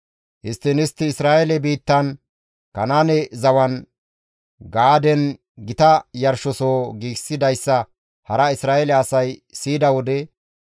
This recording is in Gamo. Histtiin istti Isra7eele biittan, Kanaane zawan, Gaaden gita yarshosoho giigsidayssa hara Isra7eele asay siyida wode